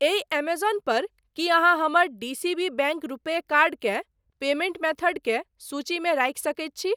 एहि एमेजौन पर की अहाँ हमर D C B bank RuPay card केँ पेमेंट मेथड के सूचीमे राखि सकैत छी?